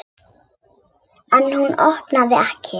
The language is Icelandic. En hún opnar ekki.